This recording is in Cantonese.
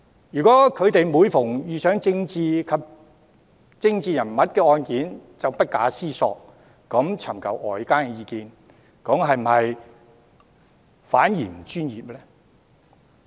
如果他們每次遇上涉及政治人物的案件，便不加思索尋求外間意見，會否反而不專業呢？